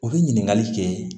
U bɛ ɲininkali kɛ